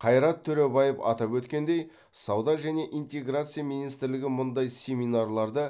қайрат төребаев атап өткендей сауда және интеграция министрлігі мұндай семинарларды